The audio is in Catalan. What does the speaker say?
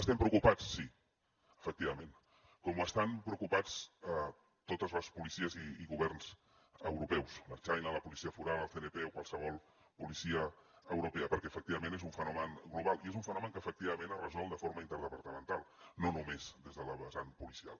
estem preocupats sí efectivament com estan preocupats totes les policies i governs europeus l’ertzaintza la policia foral el cnp o qualsevol policia europea perquè efectivament és un fenomen global i és un fenomen que efectivament es resol de forma interdepartamental no només des de la vessant policial